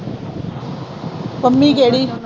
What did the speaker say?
ਪੰਮੀ ਕਿਹੜੀ।